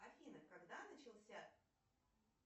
афина когда начался